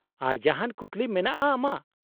-ᱟᱨ ᱡᱟᱦᱟᱱ ᱠᱩᱠᱞᱤ ᱢᱮᱱᱟᱜᱼᱟ ᱟᱢᱟᱜ ?